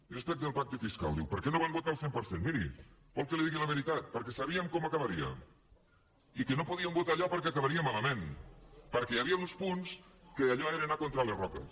i respecte del pacte fiscal diu per què no el van votar al cent per cent miri vol que li digui la veritat perquè sabíem com acabaria i que no podíem votar allò perquè acabaria malament perquè hi havia uns punts que allò era anar contra les roques